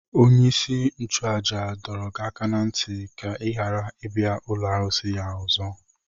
Onye-isi-nchu-àjà dọrọ gị aka ná ntị ka i ghara ibia ụlọ arụsị ya ọzọ.